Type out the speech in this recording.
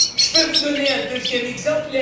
Je peux vous donner un deuxième exemple.